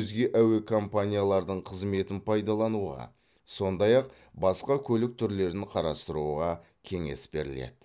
өзге әуе компаниялардың қызметін пайдалануға сондай ақ басқа көлік түрлерін қарастыруға кеңес беріледі